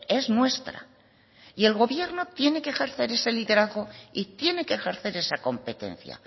es nuestra el gobierno tiene que ejercer ese liderazgo y tiene que ejercer esa competencia